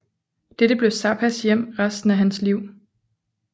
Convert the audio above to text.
Dette blev Zappas hjem resten af hans liv